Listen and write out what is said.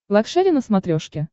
лакшери на смотрешке